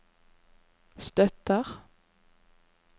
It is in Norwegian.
støtter